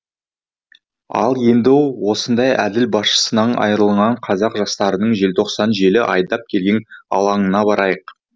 ал енді осындай әділ басшысынан айырылған қазақ жастарының желтоқсан желі айдап келген алаңына барайық